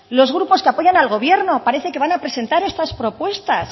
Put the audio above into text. los grupos que apoyan al gobierno parece que van a presentar estas propuestas